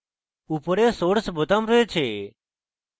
উপরে source বোতাম রয়েছে